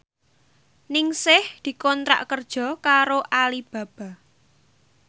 Ningsih dikontrak kerja karo Alibaba